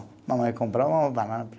Mamãe comprou uma banana.